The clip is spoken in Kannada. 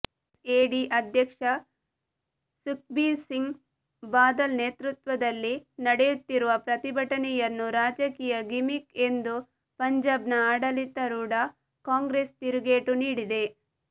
ಎಸ್ಎಡಿ ಅಧ್ಯಕ್ಷ ಸುಖ್ಬೀರ್ಸಿಂಗ್ ಬಾದಲ್ ನೇತೃತ್ವದಲ್ಲಿ ನಡೆಯುತ್ತಿರುವ ಪ್ರತಿಭಟನೆಯನ್ನು ರಾಜಕೀಯ ಗಿಮಿಕ್ ಎಂದು ಪಂಜಾಬ್ನ ಆಡಳಿತರೂಢಾ ಕಾಂಗ್ರೆಸ್ ತಿರುಗೇಟು ನೀಡಿದೆ